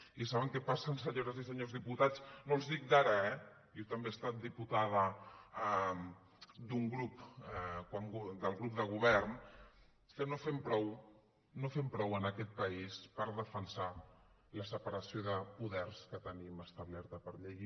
i saben què passa senyores i senyors diputats no els dic d’ara eh jo també he estat diputada d’un grup del grup de govern que no fem prou no fem prou en aquest país per defensar la separació de poders que tenim establerta per llei